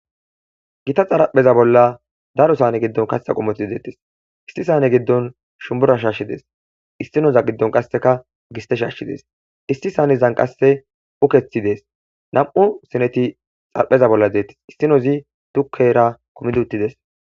gita xarapheza bolla daru sane giddon kasesa qumoti deettes isti sane giddon shumburashaashshi dees istinoza giddon qasseka giste shaashshi dees isti saanezan qasse ukethi dees nam7u sineti xarapheza bolla zeettes issinozi dukkera kumidi uttides.